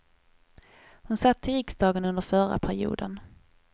Hon satt i riksdagen under förra perioden.